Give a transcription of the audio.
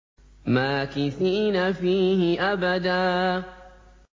مَّاكِثِينَ فِيهِ أَبَدًا